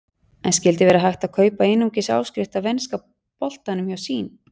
En skyldi verða hægt að kaupa einungis áskrift af enska boltanum hjá Sýn?